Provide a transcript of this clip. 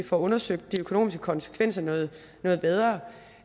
får undersøgt de økonomiske konsekvenser noget noget bedre